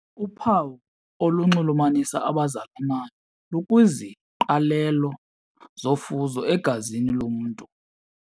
Uphawu olunxulumanisa abazalanayo lukwiziqalelo zofuzo egazini lomntu.